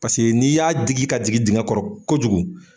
Paseke n'i y'a digi ka jigin dingɛ kɔrɔ kojugu